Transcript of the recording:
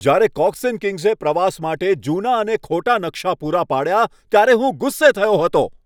જ્યારે Cox and કિંગ્સે પ્રવાસ માટે જૂના અને ખોટા નકશા પૂરા પાડ્યા, ત્યારે હું ગુસ્સે થયો હતો.